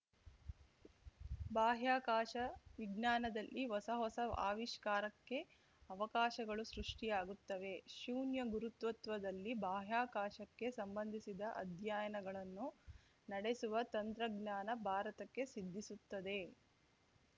ಬಾಹ್ಯಾಕಾಶ ವಿಜ್ಞಾನದಲ್ಲಿ ಹೊಸಹೊಸ ಆವಿಷ್ಕಾರಕ್ಕೆ ಅವಕಾಶಗಳು ಸೃಷ್ಟಿಯಾಗುತ್ತವೆ ಶೂನ್ಯ ಗುರುತ್ವತ್ವದಲ್ಲಿ ಬಾಹ್ಯಾಕಾಶಕ್ಕೆ ಸಂಬಂಧಿಸಿದ ಅಧ್ಯಯನಗಳನ್ನು ನಡೆಸುವ ತಂತ್ರಜ್ಞಾನ ಭಾರತಕ್ಕೆ ಸಿದ್ಧಿಸುತ್ತದೆ